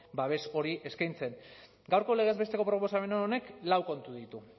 babes hori eskaintzen gaurko legez besteko proposamen honek lau kontu ditu